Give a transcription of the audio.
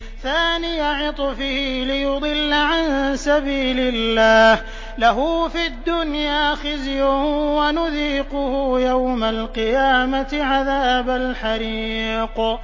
ثَانِيَ عِطْفِهِ لِيُضِلَّ عَن سَبِيلِ اللَّهِ ۖ لَهُ فِي الدُّنْيَا خِزْيٌ ۖ وَنُذِيقُهُ يَوْمَ الْقِيَامَةِ عَذَابَ الْحَرِيقِ